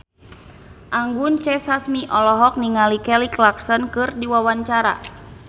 Anggun C. Sasmi olohok ningali Kelly Clarkson keur diwawancara